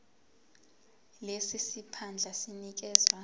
lesi siphandla sinikezwa